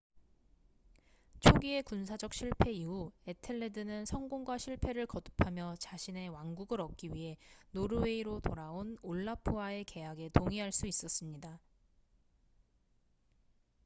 초기의 군사적 실패 이후 에텔레드는 성공과 실패를 거듭하며 자신의 왕국을 얻기 위해 노르웨이로 돌아온 올라프와의 계약에 동의할 수 있었습니다